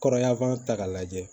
Kɔrɔya fana ta k'a lajɛ